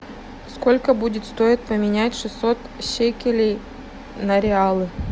сколько будет стоить поменять шестьсот шекелей на реалы